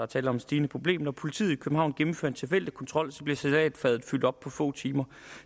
tale om et stigende problem når politiet i københavn gennemfører en tilfældig kontrol bliver salatfadet fyldt op på få timer